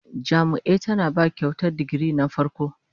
Jami'ia tana ba Kyautar digiri na farko